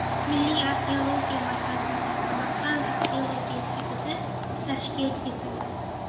Milliy arxeologiya markazi va Samarqand arxeologiya instituti tashkil etildi.